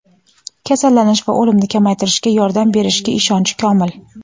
kasallanish va o‘limni kamaytirishga yordam berishiga ishonchi komil.